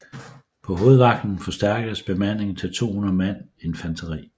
På hovedvagten forstærkedes bemandingen til 200 mand infanteri